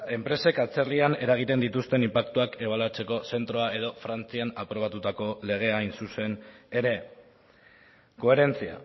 enpresek atzerrian eragiten dituzten inpaktuak ebaluatzeko zentroa edo frantzian aprobatutako legea hain zuzen ere coherencia